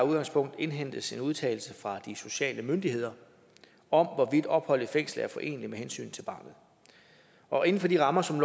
udgangspunkt indhentes en udtalelse fra de sociale myndigheder om hvorvidt opholdet i fængslet er foreneligt med hensynet til barnet og inden for de rammer som